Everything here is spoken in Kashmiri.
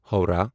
ہووراہ